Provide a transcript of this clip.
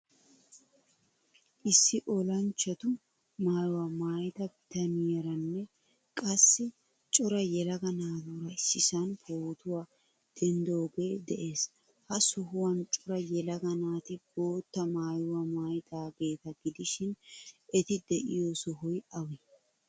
Issi olanchchatu maayuwaa maayida bitaniyaaranne qassi cora yelaga naaturaa issisan pootuwaa denddioge de'ees. Ha sohuwan cora yelaga naati boottaa maayuwaa maayidagetta gidishin eti deiyo sohoy awe?